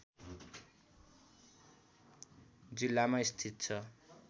जिल्लामा स्थित छ